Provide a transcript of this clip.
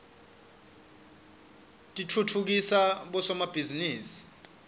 titfutfukisa bosomabhizinisi